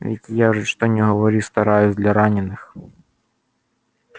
ведь я же что ни говори стараюсь для раненых